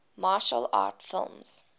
martial arts film